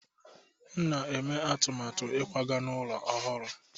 M na-eme atụmatụ ịkwaga n'ụlọ ọhụrụ.